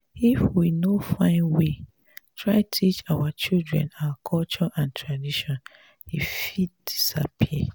if we no find way try teach our children our culture and tradition e fit disappear.